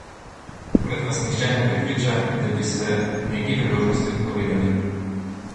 Tokrat vas nihče ne prepriča, da bi se neki priložnosti odpovedali!